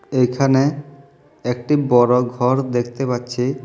এইখানে একটি বড়ো ঘর দেখতে পাচ্ছি।